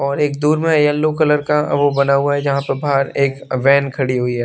और एक दूर में येलो कलर का वो बना हुआ है जहां प बाहर एक वैन खड़ी हुई है।